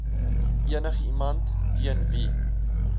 enigiemand teen wie